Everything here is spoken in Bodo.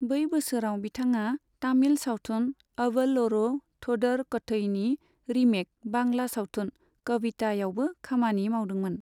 बै बोसोराव बिथाङा तामिल सावथुन अवल ओरो थोदर कथईनि रिमेक बांला सावथुन 'कविता' यावबो खामानि मावदोंमोन।